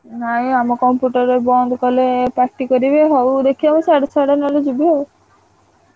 ନାଇଁ ଆମ computer ବନ୍ଦ କଲେ ପାଟି କରିବେ ହଉ ଦେଖିଆ ମୁଁ ସିଆଡୁ ସିଆଡୁ ନହେଲେ ଯିବି ଆଉ।